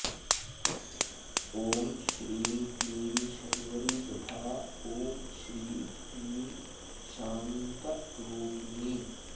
ॐ श्रीं क्लीं शर्वरी तथा ॐ श्रीं क्लीं शान्तरूपिणी